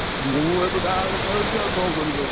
ମୁଁ ଏବେ ବାହାରେ ଖେଳୁଛି, ଆଉ କଣ କରିବି ଆଉ?